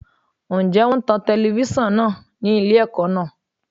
Ǹjẹ́ wón ń tan telifíṣàn náà ni ilé ẹ̀kọ́ náà?